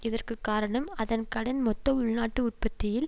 இதற்கு காரணம் அதன் கடன் மொத்த உள்நாட்டு உற்பத்தியில்